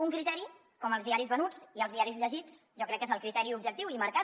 un criteri com els diaris venuts i els diaris llegits jo crec que és el criteri objectiu i marcat